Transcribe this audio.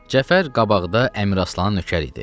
Cəfər qabaqda Əmiraslanın nökəri idi.